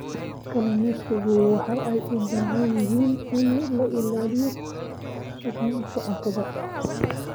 Kalluumaysigu waxa ay u baahan yihiin in la ilaaliyo sugnaanta cuntada.